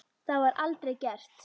Það var aldrei gert.